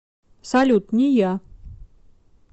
салют не я